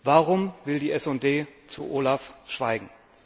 Warum will die SD zu OLAF schweigen?